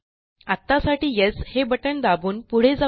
आत्तासाठी येस हे बटण दाबून पुढे जाऊ या